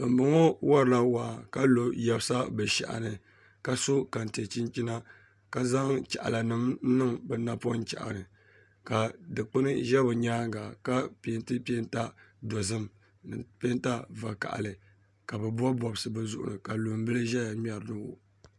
Bambɔŋɔ warila waa ka lo yɛbisa bɛ shɛhi ni ka so kante chinchina ka zaŋ chaɣilanima niŋ bɛ napɔŋ chɛhi ni ka dukpuni za bɛ nyaaŋa ka piɛnti piɛnta dɔzim ni piɛnta vakahili ka bɛ bɔbi bɔbisi bɛ zuɣuri ni ka lumbila zaya ŋmɛra